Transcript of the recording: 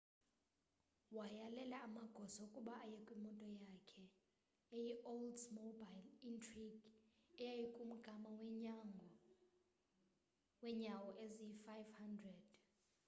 wayalela amagosa ukuba aye kwimoto yakhe eyi-oldsmobile intrigue eyaykumgama weenyawo eziyi-500